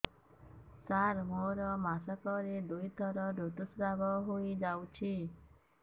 ସାର ମୋର ମାସକରେ ଦୁଇଥର ଋତୁସ୍ରାବ ହୋଇଯାଉଛି